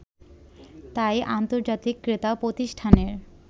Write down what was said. তাই আন্তর্জাতিক ক্রেতা প্রতিষ্ঠানের